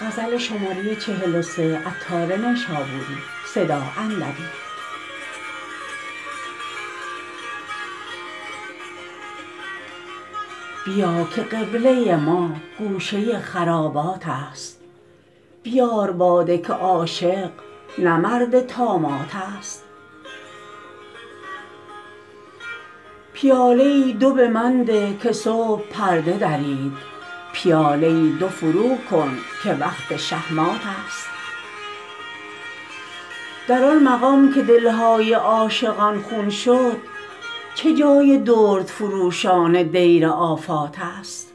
بیا که قبله ما گوشه خرابات است بیار باده که عاشق نه مرد طامات است پیاله ای دو به من ده که صبح پرده درید پیاده ای دو فرو کن که وقت شه مات است در آن مقام که دلهای عاشقان خون شد چه جای دردفروشان دیر آفات است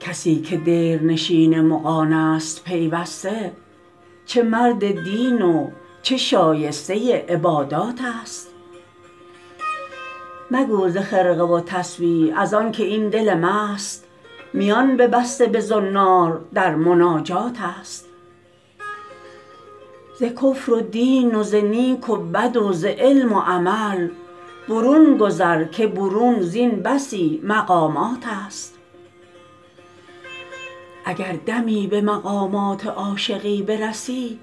کسی که دیرنشین مغانست پیوسته چه مرد دین و چه شایسته عبادات است مگو ز خرقه و تسبیح ازانکه این دل مست میان ببسته به زنار در مناجات است ز کفر و دین و ز نیک و بد و ز علم و عمل برون گذر که برون زین بسی مقامات است اگر دمی به مقامات عاشقی برسی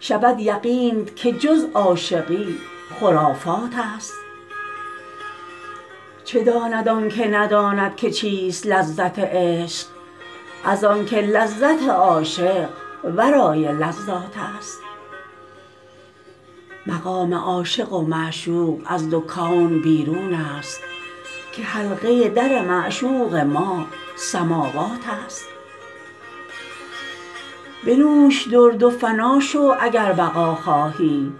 شود یقینت که جز عاشقی خرافات است چه داند آنکه نداند که چیست لذت عشق از آنکه لذت عاشق ورای لذات است مقام عاشق و معشوق از دو کون بیرون است که حلقه در معشوق ما سماوات است بنوش درد و فنا شو اگر بقا خواهی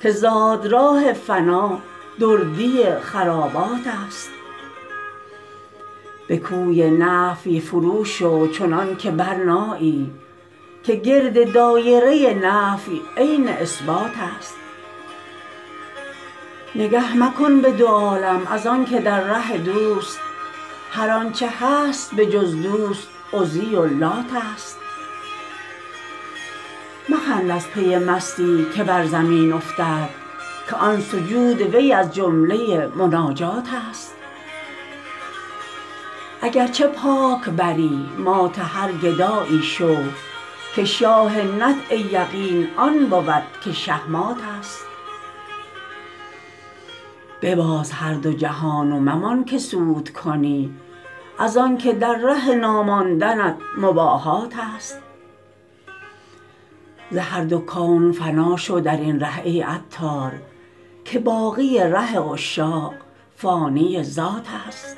که زادراه فنا دردی خرابات است به کوی نفی فرو شو چنان که برنایی که گرد دایره نفی عین اثبات است نگه مکن به دو عالم از آنکه در ره دوست هر آنچه هست به جز دوست عزی و لات است مخند از پی مستی که بر زمین افتد که آن سجود وی از جمله مناجات است اگرچه پاک بری مات هر گدایی شو که شاه نطع یقین آن بود که شه مات است بباز هر دو جهان و ممان که سود کنی از آنکه در ره ناماندنت مباهات است ز هر دو کون فنا شو درین ره ای عطار که باقی ره عشاق فانی ذات است